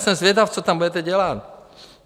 Jsem zvědav, co tam budete dělat?